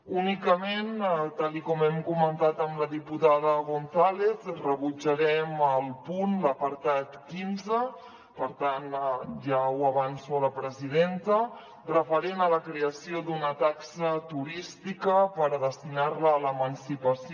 únicament tal com hem comentat amb la diputada gonzález rebutjarem el punt l’apartat quinze per tant ja ho avanço a la presidenta referent a la creació d’una taxa turística per destinar la a l’emancipació